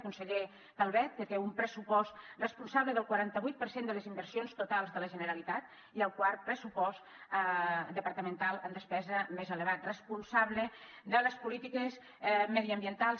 el conseller calvet té un pressupost responsable del quaranta vuit per cent de les inversions totals de la generalitat i el quart pressupost departamental en despesa més elevat responsable de les polítiques mediambientals